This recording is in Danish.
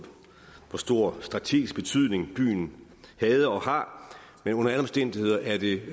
stor strategisk betydning byen havde og har men under alle omstændigheder er det